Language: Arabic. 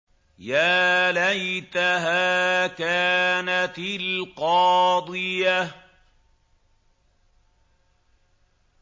يَا لَيْتَهَا كَانَتِ الْقَاضِيَةَ